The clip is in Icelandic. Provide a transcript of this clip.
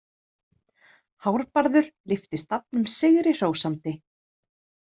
Hárbarður lyfti stafnum sigri hrósandi.